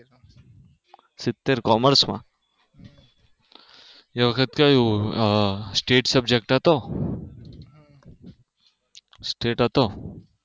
સીતેર કોમર્સમાં એ વખત કેવું State subject હતો stet હતો.